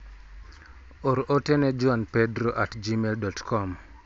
Or ote ne juanpedro@gmail.com.